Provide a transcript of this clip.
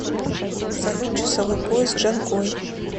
салют часовой пояс джанкой